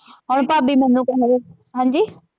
ਹੁਣ ਭਾਭੀ ਮੰਨੂ ਕਵੇ ਹਾਂਜੀ।